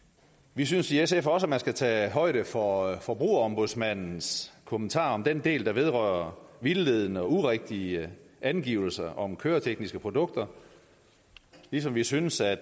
vi synes i sf også at man skal tage højde for forbrugerombudsmandens kommentarer om den del der vedrører vildledende og urigtige angivelser om køretekniske produkter ligesom vi synes at